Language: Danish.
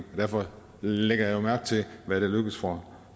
derfor lægger jeg jo mærke til hvad der lykkes for